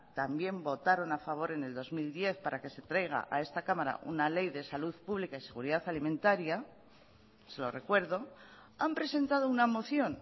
también votaron a favor en el dos mil diez para que se traiga a esta cámara una ley de salud pública y seguridad alimentaria se lo recuerdo han presentado una moción